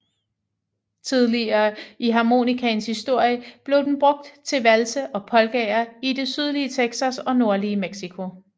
Tidligt i harmonikaens historie blev den brugt til valse og polkaer i det sydlige Texas og nordlige Mexico